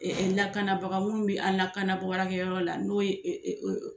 lakanabaga minnu bɛ an lakanabaarakɛ yɔrɔ la n'o ye